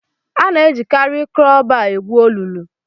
Ana-ejikarị kraụbaa egwu olulu.